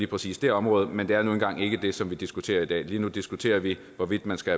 præcis det område men det er nu engang ikke det som vi diskuterer i dag lige nu diskuterer vi hvorvidt man skal